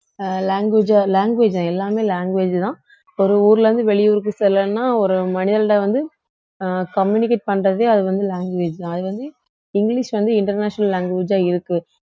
அஹ் language ஆ language தான் எல்லாமே language தான் ஒரு ஊர்ல இருந்து வெளியூருக்கு செல்லணும்ன்னா ஒரு மனிதன்ட்ட வந்து அஹ் அஹ் communicate பண்றதே அது வந்து language தான் அது வந்து இங்கிலிஷ் வந்து international language ஆ இருக்கு